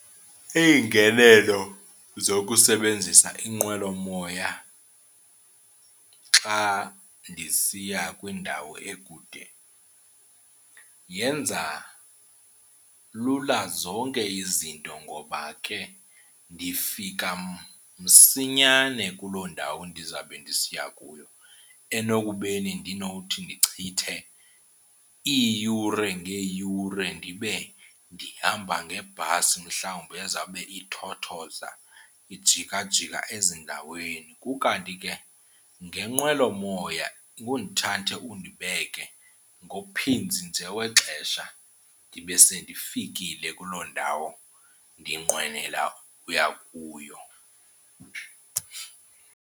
Iingenelo zokusebenzisa inqwelomoya xa ndisiya kwindawo ekude yenza lula zonke izinto ngoba ke ndifika msinyane kuloo ndawo ndizawube ndisiya kuyo enokubeni ndinokuthi ndichithe iiyure ngeeyure ndibe ndihamba ngebhasi mhlawumbi ezawube ithothoza ijikajika ezindaweni. Kukanti ke ngenqwelomoya ngundithathe undibeke, nguphinzi nje wexesha ndibe sendifikile kuloo ndawo ndinqwenela uya kuyo.